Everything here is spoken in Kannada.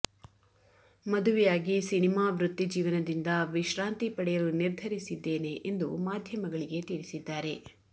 ಮದುವೆಯಾಗಿ ಸಿನಿಮಾ ವೃತ್ತಿ ಜೀವನದಿಂದ ವಿಶ್ರಾಂತಿ ಪಡೆಯಲು ನಿರ್ಧರಿಸಿದ್ದೇನೆ ಎಂದು ಮಾಧ್ಯಮಗಳಿಗೆ ತಿಳಿಸಿದ್ದಾರೆ